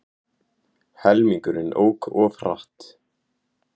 Helmingurinn ók of hratt